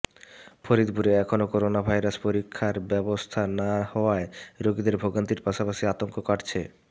ফরিদপুরে এখনও করোনাভাইরাস পরীক্ষার ব্যবস্থা না হওয়ায় রোগীদের ভোগান্তির পাশপাশি আতঙ্ক কাটছে